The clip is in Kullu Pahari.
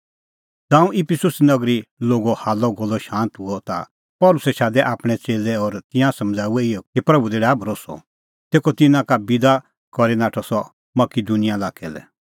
ज़ांऊं इफिसुस नगरी लोगो हाल्लअगोल्लअ शांत हुअ ता पल़सी शादै आपणैं च़ेल्लै और तिंयां समझ़ाऊऐ इहै कि प्रभू दी डाहै भरोस्सअ तेखअ तिन्नां का बिदा हई करै नाठअ सह मकिदुनिया लाक्कै लै